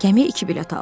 Gəmiyə iki bilet aldım.